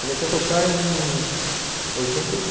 Comecei a tocar em... oitenta e cin.